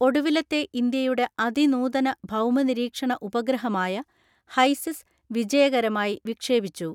ഒടുവിലത്തെ ഇന്ത്യയുടെ അതിനൂതന ഭൗമ നിരീക്ഷണ ഉപഗ്രഹമായ ഹൈസിസ്സ് വിജയകരമായി വിക്ഷേപിച്ചു.